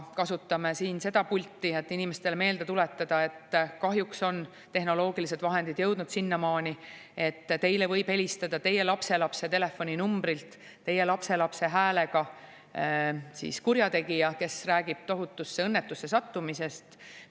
Kasutame ka seda pulti siin, et inimestele meelde tuletada, et kahjuks on tehnoloogilised vahendid jõudnud sinnamaani, et teile võib helistada teie lapselapse telefoninumbrilt teie lapselapse häälega kurjategija, kes räägib tohutusse õnnetusse sattumisest.